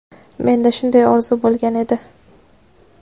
Menda shunday orzu bo‘lgan edi.